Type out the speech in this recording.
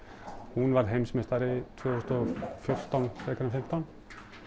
hún varð heimsmeistari tvö þúsund og fjórtán frekar en fimmtán